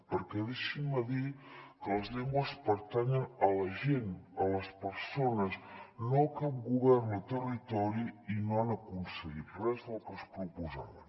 perquè deixin me dir que les llengües pertanyen a la gent a les persones no a cap govern o territori i no han aconseguit res del que es proposaven